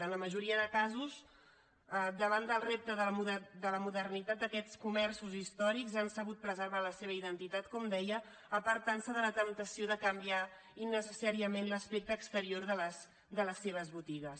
en la majoria de casos davant del repte de la modernitat aquests comerços històrics han sabut preservar la seva identitat com deia apartant se de la temptació de canviar innecessàriament l’aspecte exterior de les seves botigues